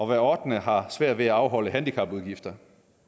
hver ottende har svært ved at afholde handicapudgifter